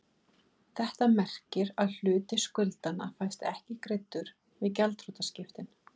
Þetta merkir að hluti skuldanna fæst ekki greiddur við gjaldþrotaskiptin.